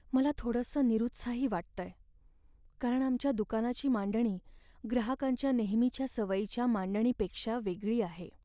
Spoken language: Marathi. मला थोडसं निरुत्साही वाटतंय, कारण आमच्या दुकानाची मांडणी ग्राहकांच्या नेहमीच्या सवयीच्या मांडणीपेक्षा वेगळी आहे.